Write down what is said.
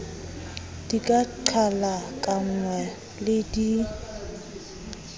di ka qhalakanngwa le di